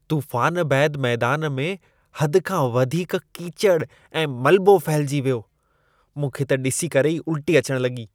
तूफ़ान बैदि मैदान में हद खां वधीक कीचड़ ऐं मलबो फहिलिजी वियो। मूंखे त ॾिसी करे ई उल्टी अचण लॻी।